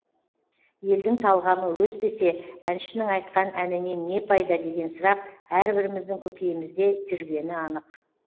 елдің талғамы өспесе әншінің айтқан әнінен не пайда деген сұрақ әрбіріміздің көкейімізде жүргені анық